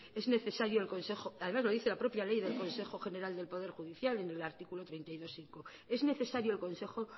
es necesario el consejo además lo dice la propia ley del consejo general del poder judicial en el artículo treinta y dos punto cinco es necesario